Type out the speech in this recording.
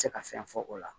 Se ka fɛn fɔ o la